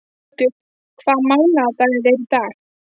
Muggur, hvaða mánaðardagur er í dag?